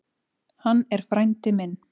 Hann er frændi minn.